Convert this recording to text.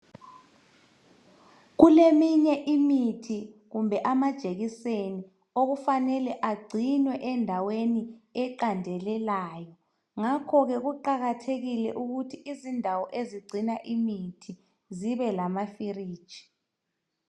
Kuleminye imithi lama jekiseni okufanele kugcinywe endaweni eqandelelayo ngakhoke kuqakathekile ukuthi indawo ezigcina imithi zibe lama filiji